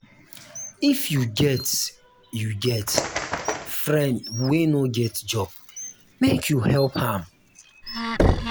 if you get you get friend wey no get job make you help am.